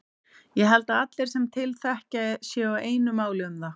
Ég held að allir sem til þekkja séu á einu máli um það.